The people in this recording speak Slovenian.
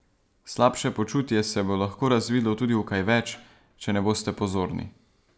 Slabše počutje se bo lahko razvilo tudi v kaj več, če ne boste pozorni.